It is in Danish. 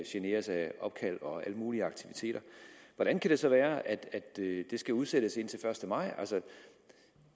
generes af opkald og alle mulige aktiviteter hvordan kan det så være at det skal udsættes indtil den første maj